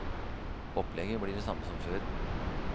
Opplegget blir det samme som før.